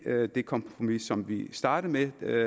er ikke det kompromis som vi startede med og